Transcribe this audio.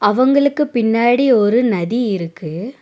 அவங்களுக்கு பின்னாடி ஒரு நதி இருக்கு.